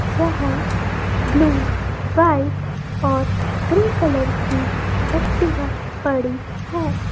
जहां blue white और grey colour की एक्टिवा पड़ी है।